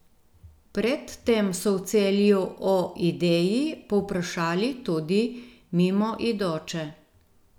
Pred tem so v Celju o ideji povprašali tudi mimoidoče.